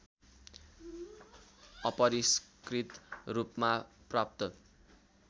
अपरिष्कृत रूपमा प्राप्त